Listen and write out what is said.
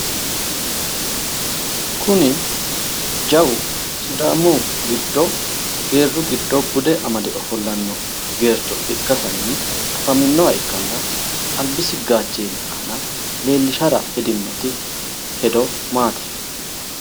kuni jawu sidaammu giddo geerru giddo bude amade ofollanno geercho ikkasinni afaminoha ikkanna albisi gaacheeni aana leellishshara hedinno hedo maati?